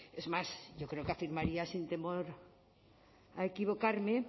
es más yo creo que afirmaría sin temor a equivocarme